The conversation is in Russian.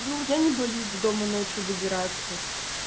ну я не боюсь до дома ночью добираться